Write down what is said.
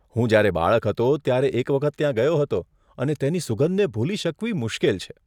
હું જ્યારે બાળક હતો ત્યારે એક વખત ત્યાં ગયો હતો અને તેની સુગંધને ભૂલી શકવી મુશ્કેલ છે.